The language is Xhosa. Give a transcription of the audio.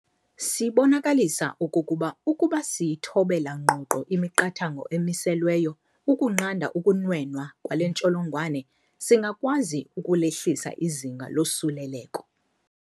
Sibonakalisa okokuba ukuba siyithobela ngqongqo imiqathango emiselweyo ukunqanda ukunwenwa kwale ntsholongwane, singakwazi ukulehlisa izinga losuleleko.